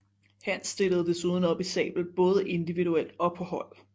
Hans stillede desuden op i sabel både individuelt og på hold